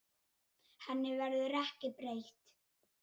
Henni verður ekki breytt.